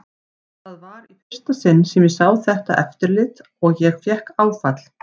Það var í fyrsta sinn sem ég sá þetta eftirlit og ég fékk áfall.